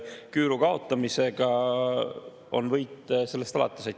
Küüru kaotamisega on võit sellest alates.